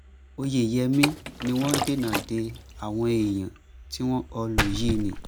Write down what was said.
oyeyèmí ni wọ́n dènà de àwọn èèyàn tí wọ́n kọlù yìí ni